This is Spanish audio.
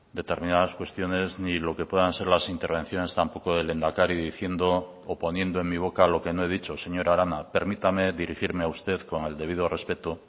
determinadas cuestiones ni lo que puedan ser las intervenciones tampoco del lehendakari diciendo o poniendo en mi boca lo que no he dicho señora arana permítame dirigirme a usted con el debido respeto